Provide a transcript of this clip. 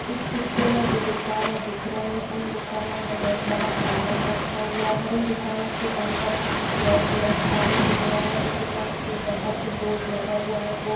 इस चित्र मे जो दुकाने दिख रही है उन दुकानो मे बहुत सारा सामान रखा हुआ है इन दुकानो के अंदर कुछ ब्लैक ब्लैक सा भी दिख रहा है इस दुकान के बाहर जो बोर्ड लगा हुआ है वो--